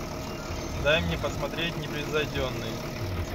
дай мне посмотреть непревзойденный